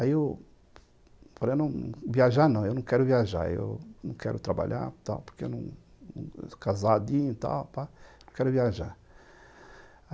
Aí eu falei, viajar não, eu não quero viajar, eu não quero trabalhar tal porque eu, casadinho, tal, já pá, não quero viajar.